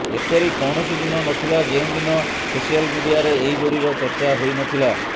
ଏପରି କୌଣସି ଦିନ ନଥିଲା ଯେଉଁଦିନ ସୋସିଆଲ୍ ମିଡିଆରେ ଏହି ଯୋଡ଼ିର ଚର୍ଚ୍ଚା ହୋଇନଥିଲା